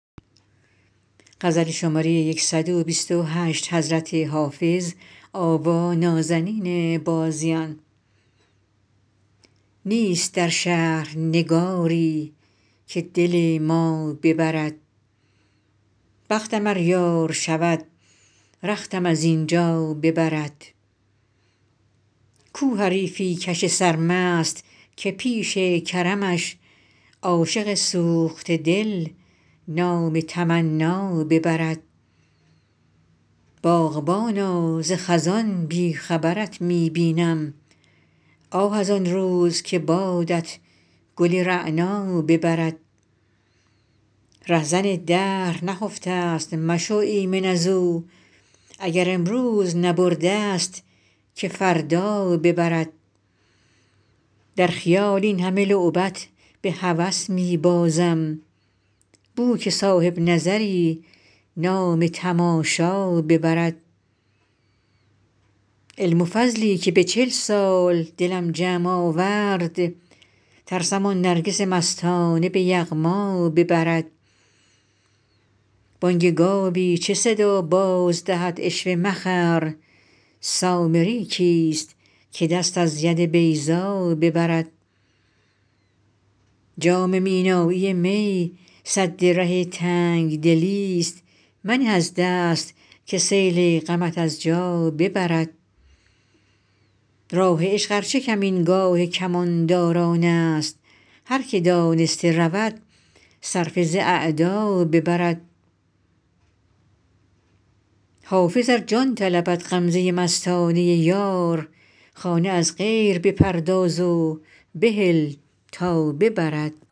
نیست در شهر نگاری که دل ما ببرد بختم ار یار شود رختم از این جا ببرد کو حریفی کش سرمست که پیش کرمش عاشق سوخته دل نام تمنا ببرد باغبانا ز خزان بی خبرت می بینم آه از آن روز که بادت گل رعنا ببرد رهزن دهر نخفته ست مشو ایمن از او اگر امروز نبرده ست که فردا ببرد در خیال این همه لعبت به هوس می بازم بو که صاحب نظری نام تماشا ببرد علم و فضلی که به چل سال دلم جمع آورد ترسم آن نرگس مستانه به یغما ببرد بانگ گاوی چه صدا باز دهد عشوه مخر سامری کیست که دست از ید بیضا ببرد جام مینایی می سد ره تنگ دلی ست منه از دست که سیل غمت از جا ببرد راه عشق ار چه کمینگاه کمانداران است هر که دانسته رود صرفه ز اعدا ببرد حافظ ار جان طلبد غمزه مستانه یار خانه از غیر بپرداز و بهل تا ببرد